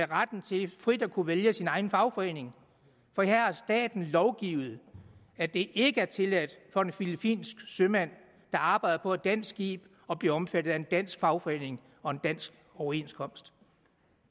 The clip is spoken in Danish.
retten til frit at kunne vælge sin egen fagforening for her har staten lovgivet at det ikke er tilladt for en filippinsk sømand der arbejder på et dansk skib at blive omfattet af en dansk fagforening og en dansk overenskomst